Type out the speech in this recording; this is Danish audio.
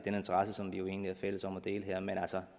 jo egentlig er fælles om at dele her men